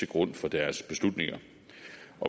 grund for deres beslutninger